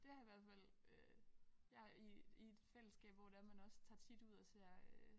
Det har i hvert fald øh jeg i i et fællesskab hvor det er man også tager tit ud og ser øh